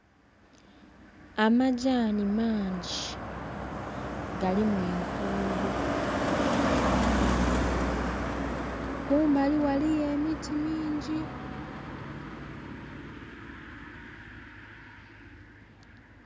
Amagyani mangi galimu enkuubo. Kumbali ghaliyo emiti mingi.